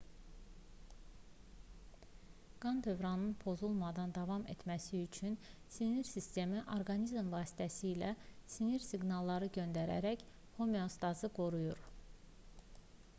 qan dövranının pozulmadan davam etməsi üçün sinir sistemi orqanizm vasitəsilə sinir siqnalları göndərərək homeostazı qoruyur